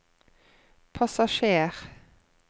passasjer